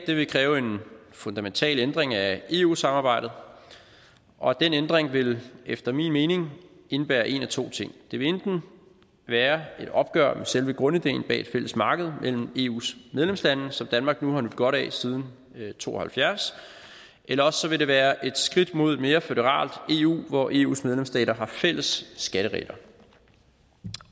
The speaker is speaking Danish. vil kræve en fundamental ændring af eu samarbejdet og den ændring vil efter min mening indebære en af to ting det vil enten være et opgør med selve grundideen bag et fælles marked mellem eus medlemslande som danmark nu har nydt godt af siden nitten to og halvfjerds eller også vil det være et skridt mod et mere føderalt eu hvor eus medlemsstater har fælles skatteregler